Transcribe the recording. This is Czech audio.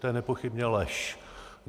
To je nepochybně lež.